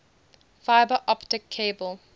fiber optic cable